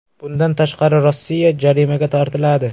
Bundan tashqari, Rossiya jarimaga tortiladi.